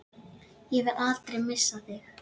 Ég vil aldrei missa þig.